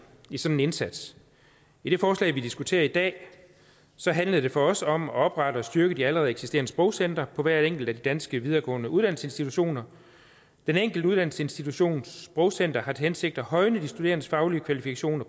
i sådan en indsats i det forslag vi diskuterer i dag handler det for os om at oprette sprogcentre og styrke de allerede eksisterende sprogcentre på hver enkelt af de danske videregående uddannelsesinstitutioner den enkelte uddannelsesinstitutions sprogcenter har til hensigt at højne de studerendes faglige kvalifikationer